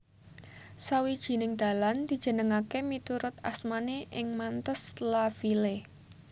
Sawijining dalan dijenengaké miturut asmané ing Mantes la Ville